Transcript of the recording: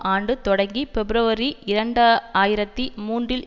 ஆண்டு தொடங்கி பிப்ரவரி இரண்டு ஆயிரத்தி மூன்றில்